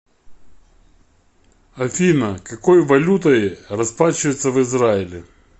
афина какой валютой расплачиваются в израиле